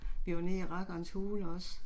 Vi var nede i Rakkerens Hule også